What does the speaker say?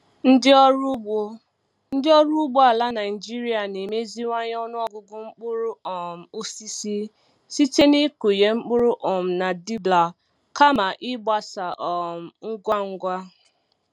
Ndị ọrụ ugbo Ndị ọrụ ugbo ala Naijiria na-emeziwanye ọnụ ọgụgụ mkpụrụ um osisi site n'ịkụnye mkpụrụ um na dibbler kama ịgbasa um ngwa ngwa.